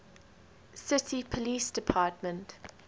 city police department